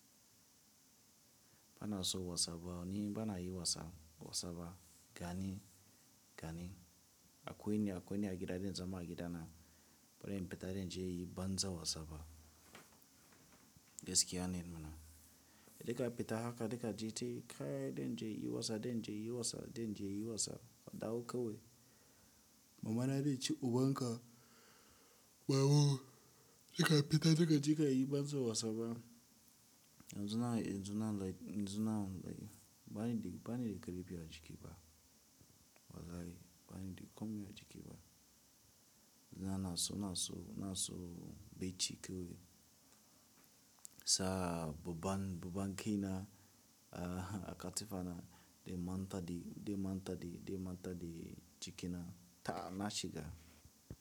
Bana so WhatsApp, ni bana yi wasa WhatsAppa gani, gani. Akwai ni, akwai ni a gida, zan zama a gidana, baran fita naje banza wasaba. Gaskiya ne mana. Dika peta haka, dika je ce, kai den je yi wasa, den je yi wasa, den je yi wasa, a dawo kawai. Mamana zai ci ubanka, bawu, inka peta, lika je ka yi banza wasaba. Yanzu na, yanzu na, yanzu na, bani da, bani da karepi a jiki ba. Wallahi, bani da komi a jiki ba. Yanzu na so, na so, na so becci kawai. Saa, ba ban, ba ban kai na, a katifa na, dai manta di, dai manta di, dai manta di cikina, ta'a na shiga.